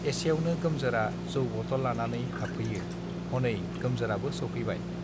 एसेयावनो गोमजोरा जौ बटल लानानै हाबफैयो हनै गोमजोराबो सौफैबाय